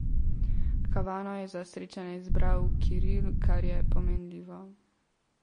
Havano je za srečanje izbral Kiril, kar je pomenljivo.